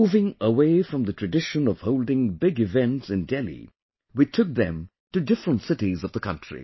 Moving away from the tradition of holding big events in Delhi, we took them to different cities of the country